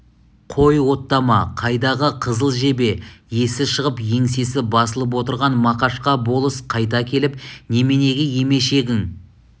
қой оттама қайдағы қызыл жебе есі шығып еңсесі басылып отырған мақашқа болыс қайта келіп неменеге емешегің